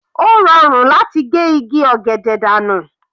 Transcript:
Ó rọrùn láti ge igi ọ̀gẹ̀dẹ̀ dànù.